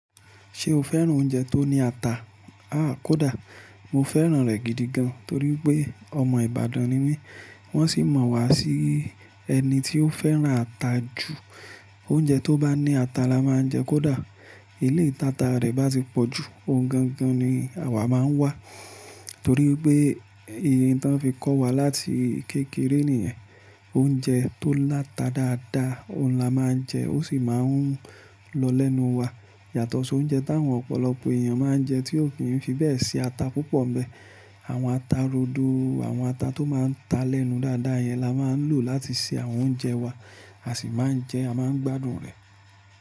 Ṣé o fẹ́ran oúnjẹ tó ní ata? Aà, kódà. Mo fẹ́ran rẹ̀ gidi gan, torí pé ọmọ Ìbàdàn ni mí, wọ́n sì mọ̀ wá sí ẹni tí ó fẹ́ran ata jù. Oúnjẹ tó bá ní ata la máa ń jẹ kódà eleyi tì ata rẹ̀ bá ti pọ̀jù, ohun gangan ni àwa máa ń wá. Torí pé un tí wọ́n fi kọ́ wa láti kékeré nìyẹn. Oúnjẹ tó láta dáadáa, òun la máa ń jẹ, ó sì máa ń lọ lẹ́nu wa. Yàtọ̀ sí oúnjẹ táwọn ọ̀pọ̀lọpọ̀ èèyàn máa ń jẹ, tí ò kí n fi bẹ́ẹ̀ ṣi ata púpọ̀ n bẹ. Àwọn ata rodo, àwọn ata tó máa ń ta lẹ́nu dáadáa yẹn la máa ń lò láti ṣe àwọn oúnjẹ wa, a sì máa ń jẹ, a máa ń gbádùn rẹ̀.